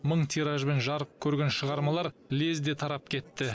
мың тиражбен жарық көрген шығармалар лезде тарап кетті